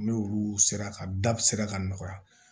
N'olu sera ka da sera ka nɔgɔya